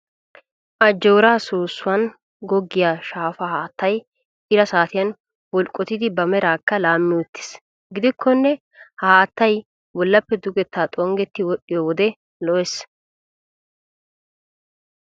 Ajjoora soossuwaan goggiyaa shaafaa haattayi ira saatiyaan bulqqotidi ba meeraakka laammi uttis. Gidikkonne ha haattayi bollappe dugettaa xonggetti wodhdhiyoo wode lo'es.